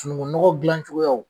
Sunukunɔgɔ dilancogoya